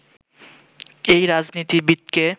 এই রাজনীতিবিদকে